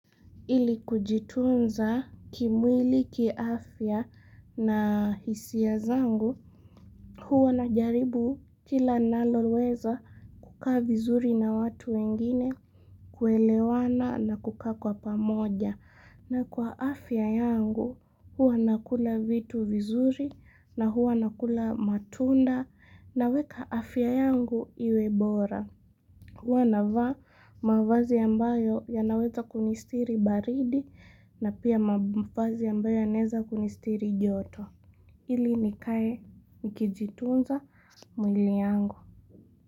Ili kujitunza kimwili kiafya na hisia zangu huwa na jaribu kila naloweza kukaa vizuri na watu wengine kuelewana na kukaa kwa pamoja na kwa afya yangu huwa nakula vitu vizuri na huwa nakula matunda na weka afya yangu iwe bora. Huwa navaa mavazi ambayo yanaweza kunistiri baridi na pia mavazi ambayo yanaeza kunistiri joto. Hili nikae nikijitunza mwili yangu.